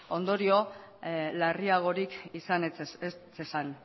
ondorio larriagorik izan ez zezan